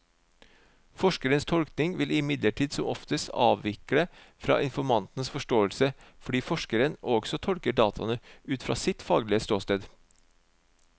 Forskerens tolkning vil imidlertid som oftest avvike fra informantens forståelse, fordi forskeren også tolker dataene ut fra et faglig ståsted.